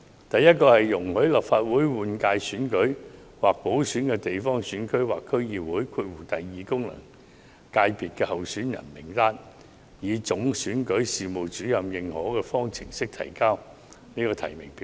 第一，容許立法會換屆選舉或補選的地方選區或區議會功能界別候選人名單上的候選人，以總選舉事務主任認可的方式呈交提名表格。